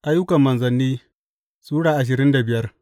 Ayyukan Manzanni Sura ashirin da biyar